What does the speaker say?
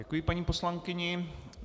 Děkuji paní poslankyni.